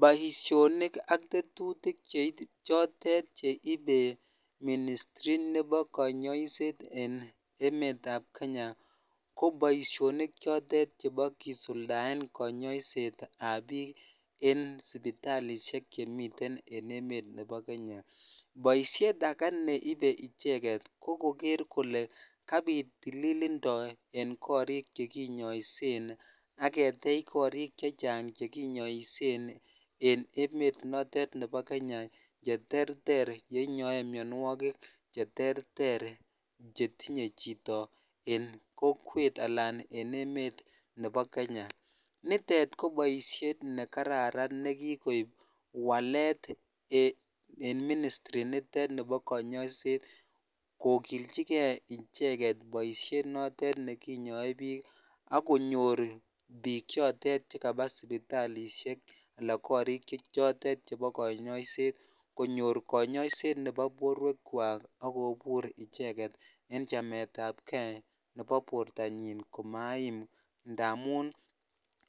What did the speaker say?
Poishonik ak tetutik cheit choton cheibe ministri nebo kanyooiseet en emetab Kenya ko poishonik chotet chebo kisuldaen kanyooiseetab biik en sipitalishek chemiten en emet nebo Kenya ,poishiet age neibe icheket ko koger kole kabit tililindo en korik chekinyoosien ak ketechen korik chechang chekinyoosien en emet notet Nebo Kenya cheterter chenyoe mionwogik cheterter chetinye chito en kokwet anan en emet nebo Kenya nitet ko poishiet nekararan nekikoib walet en ministri nitet nebo kanyooiseet kokilnjigee icheket poishiet notet nekinyoe biik agonyor biik choton chekaba sipitalishek anan korik choton chebo kanyooiseet konyor kanyooiseet nebo borwekwak agobur icheket en chametabkee nebo bortonyin komaim ndamun